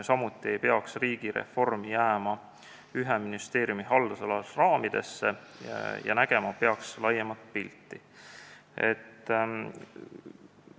Samuti ei peaks riigireform jääma ühe ministeeriumi haldusala raamidesse ja nägema peaks laiemat pilti.